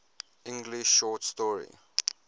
english short story